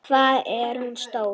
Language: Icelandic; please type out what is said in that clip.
Hvað er hún stór?